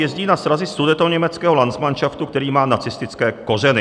Jezdí na srazy Sudetoněmeckého landsmanšaftu, který má nacistické kořeny.